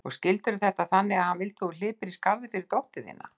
Og skildirðu þetta þannig að hann vildi að þú hlypir í skarðið fyrir dóttur þína?